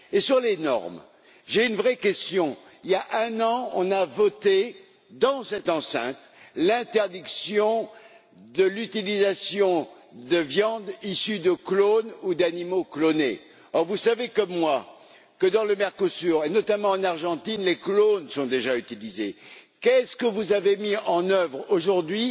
Pour ce qui est des normes, j'ai une vraie question il y a un an, on a voté, dans cette enceinte, l'interdiction de l'utilisation de viandes issues de clones ou d'animaux clonés. Or, vous savez comme moi que, dans le Mercosur et notamment en Argentine, les clones sont déjà utilisés. Quelles mesures avez vous mises en œuvre aujourd'hui